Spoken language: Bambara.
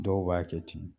Dɔw b'a kɛ ten